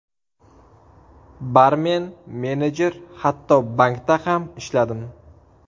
Barmen, menejer, hatto bankda ham ishladim.